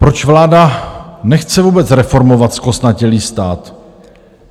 Proč vláda nechce vůbec reformovat zkostnatělý stát?